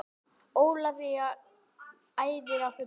Ólafía æfir á fullu